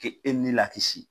Ke e ni lakisi.